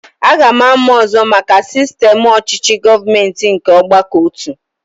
Aga m amụ ọzọ maka sistem ọchịchị gọọmenti nke ọgbakọotu